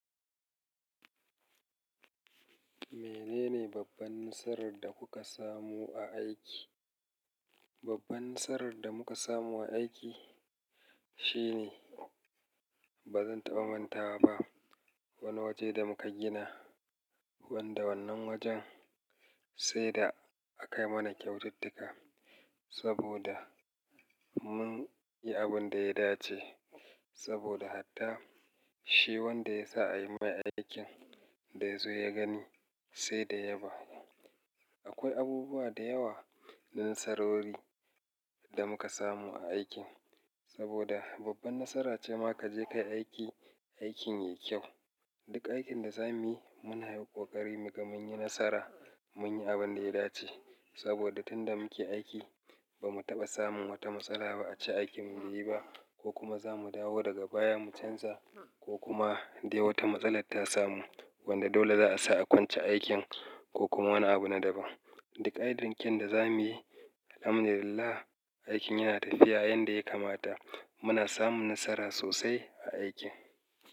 Menene babban nasarar da kuka samu a aiki? Babban nasarar da muka samu a aiki shine ba zan taɓa manta ba wani waje da muka gina wanda wannan wurin sai da aka yi mana kyaututtuka saboda mun yi abin da ya dace saboda hatta shi wanda ya sa a yi mai aikin da ya zo ya gani sai da ya yaba. Akwai abubuwa da yawa na nasarori da muka samu a aikin saboda babban nasara ce ma ka je ka yi aiki, aikin yayi kyau. Duk aikin da za mu yi muna yi ƙoƙari mu ga mun yi nasara mun yi abin da ya dace saboda tun da muke aiki ba mu taɓa samun wata matsala ba a ce aikin mu bai yi ba ko kuma za mu dawo daga baya mu canza ko kuma dai wata matsala ta samu wadda dole za a sa a soke aikin ko kuma wani abu na daban. Duk ayyukan da za muyi, alhamdu lillah, aikin yana tafiya yanda ya kamata muna samun nasara sosai a aiki.